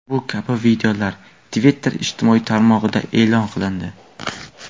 Bu kabi videolar Twitter ijtimoiy tarmog‘ida e’lon qilindi.